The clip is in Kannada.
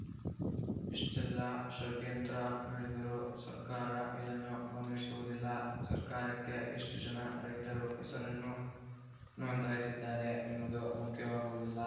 ಇಷ್ಟೆಲ್ಲಾ ಷಡ್ಯಂತ್ರ ನಡೆದರೂ ಸರ್ಕಾರ ಇದನ್ನು ಗಮನಿಸುವುದಿಲ್ಲ ಸರ್ಕಾರಕ್ಕೆ ಎಷ್ಟುಜನ ರೈತರು ಹೆಸರನ್ನು ನೋಂದಾಯಿಸಿದ್ದಾರೆ ಎಂಬುದು ಮುಖ್ಯವಾಗುವುದಿಲ್ಲ